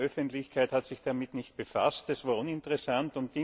Die Medienöffentlichkeit hat sich damit nicht befasst, es war uninteressant.